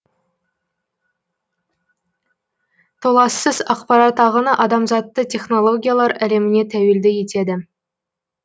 толассыз ақпарат ағыны адамзатты технологиялар әлеміне тәуелді етеді